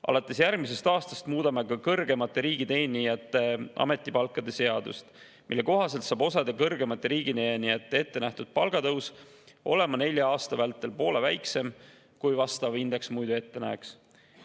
Alates järgmisest aastast teeme ka kõrgemate riigiteenijate ametipalkade seaduse muudatuse, mille kohaselt on osa kõrgemate riigiteenijate ette nähtud palgatõus nelja aasta vältel poole väiksem, kui vastav indeks muidu ette näeks.